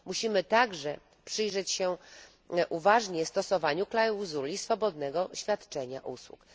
Musimy także przyjrzeć się uważnie stosowaniu klauzuli swobodnego świadczenia usług.